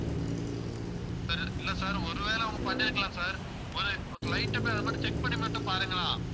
sir இல்லை sir ஒருவேளை அவங்க பண்ணியிருக்கலாம் sir ஒரு light அ போயி, அதை மட்டும் check பண்ணி மட்டும் பாருங்களேன்